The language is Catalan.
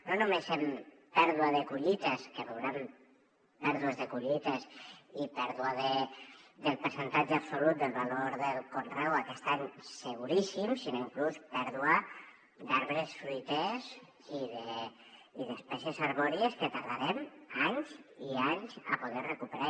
no només en pèrdua de collites que veurem pèrdues de collites i pèrdua del percentatge absolut del valor del conreu aquest any seguríssim sinó inclús pèrdua d’arbres fruiters i d’espècies arbòries que tardarem anys i anys a poder recuperar